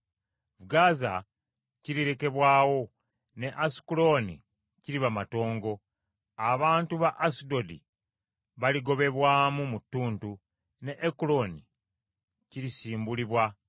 Gaza kirirekebwawo, ne Asukulooni kiriba matongo: abantu ba Asudodi baligobebwamu mu ttuntu, ne Ekuloni kirisimbulibwa.